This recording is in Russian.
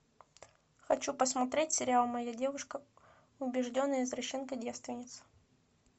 хочу посмотреть сериал моя девушка убежденная извращенка девственница